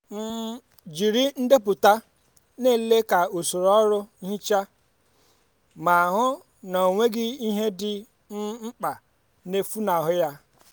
um jiri ndepụta nlele ka soro ọrụ nhicha ma hụ na ọ ọ nweghị ihe dị um mkpa na-efunahụ ya.